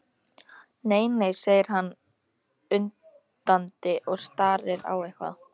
Nei, nei, segir hann undandi og starir á eitthvað.